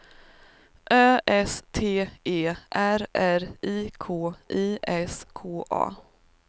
Ö S T E R R I K I S K A